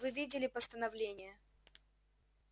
вы видели постановление